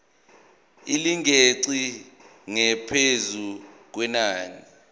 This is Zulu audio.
elingeqi ngaphezu kwenani